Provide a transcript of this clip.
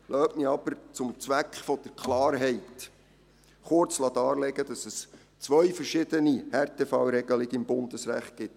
Lassen Sie mich noch zum Zweck der Klarheit kurz darlegen, dass es zwei verschiedene Härtefallregelungen im Bundesrecht gibt.